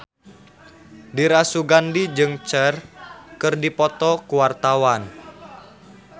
Dira Sugandi jeung Cher keur dipoto ku wartawan